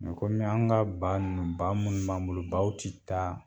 kɔmi an ka ba ninnu ba munnu b'an bolo baw ti taa